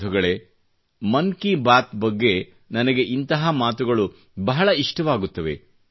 ಬಂಧುಗಳೇ ಮನ್ ಕಿ ಬಾತ್ ಬಗ್ಗೆ ನನಗೆ ಇದೇ ಮಾತು ಬಹಳ ಇಷ್ಟವಾಗುತ್ತದೆ